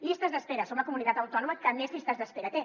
llistes d’espera som la comunitat autònoma que més llistes d’espera té